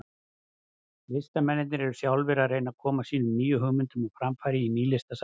Listamennirnir eru sjálfir að reyna að koma sínum nýju hugmyndum á framfæri í Nýlistasafninu.